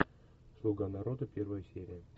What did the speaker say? слуга народа первая серия